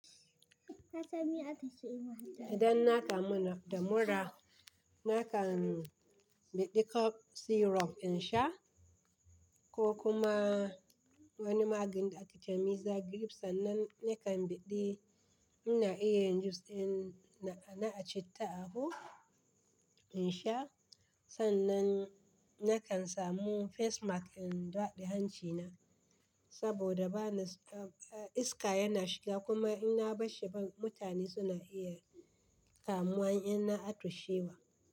Idan na kamu da mura, na kan biɗe cough syrup in sha ko kuma wani maganin da ake ce miza grief sannan na kan biɗe. Ina iya yin jus ɗin na a ci ta abu in sha sannan na kan samu face mask in daɗe hancina saboda iska yana shiga kuma ina bashi ba mutane suna iya kamuwa in na atushewa.